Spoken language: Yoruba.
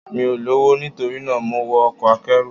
Mi ò lọ́wọ́, nitorina mo wọ ọkọ̀ akẹ́rù.